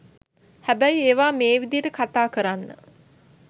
හැබැයි ඒවා මේ විදියට කතා කරන්න